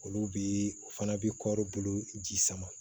Olu bi u fana bi kɔri bolo ji sama